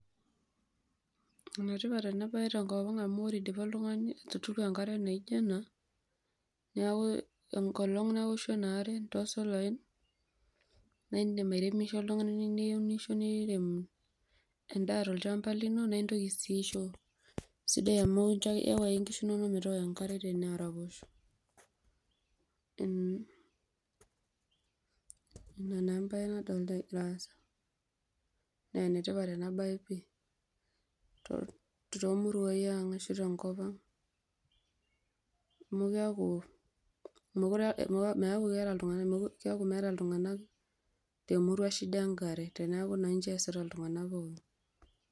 Enetipat enabae tenkop aang amu ore eidipa oltungani atuudu enkare naijo ena neaku enkolong naoshu enaare tosolai naindim airemisho oltungani niirem endaa tolchamba lino na intoki si aisho sida amu iyau ake nkishu inonok metooko enkare araposho mm enake embae nadolta naa enetipat ena bae pii tomiruai aang ashu tenkop aang amu kedu a,keaku meeta ltunganak emurua shida enkare teneaku keasita ltunganak pookin.